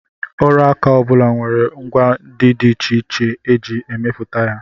Ọrụaka ọ bụla nwere ngwa ndị dị iche iche e ji emepụta ya